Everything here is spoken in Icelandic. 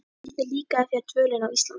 Hvernig líkaði þér dvölin á Íslandi?